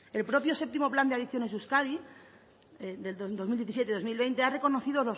el propio séptimo plan de adicciones de euskadi del dos mil diecisiete dos mil veinte ha reconocido